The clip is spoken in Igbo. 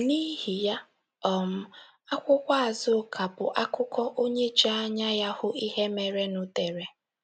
N’ihi ya um, akwụkwọ Azuka bụ akụkọ onye ji anya ya hụ ihe merenụ dere.